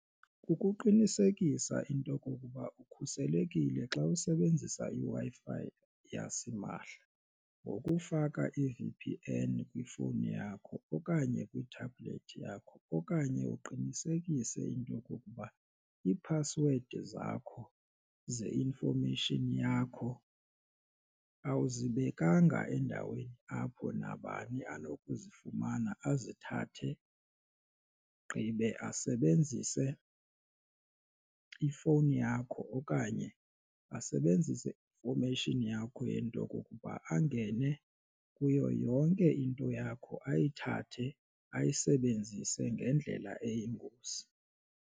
Kukuqinisekisa into okokuba ukhuselekile xa usebenzisa iWi-Fi yasimahla ngokufaka i-V_P_N kwifowuni yakho okanye kwi-tablet yakho okanye uqinisekise into yokokuba iiphasiwedi zakho ze-information yakho awuzibekanga endaweni apho nabani anokuzifumana azithathe gqibe asebenzise ifowuni yakho okanye asebenzise i-information yakho yento kokuba angene kuyo yonke into yakho ayithathe ayisebenzise ngendlela eyingozi.